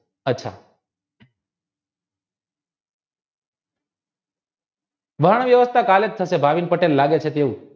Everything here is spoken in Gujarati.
વાણ વ્યવસ્થા કાલે પરત લાગે છે